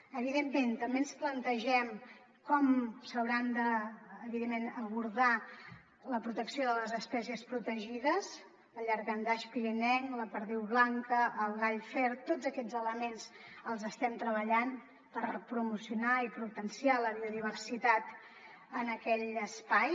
evidentment també ens plantegem com s’haurà evidentment d’abordar la protecció de les espècies protegides el llangardaix pirinenc la perdiu blanca el gall fer tots aquests elements els estem treballant per promocionar i potenciar la biodiversitat en aquell espai